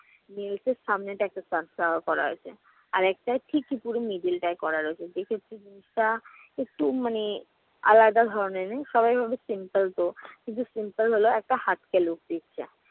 nails এর সামনের দিকে একটা sunflower করা হয়েছে। আর একটায় ঠিকই পুরো middle টায় করা রয়েছে। সেক্ষেত্রে জিনিসটা একটু মানে আলাদা ধরনের। সবাই বলবে simple তো। কিন্তু simple হলেও একটা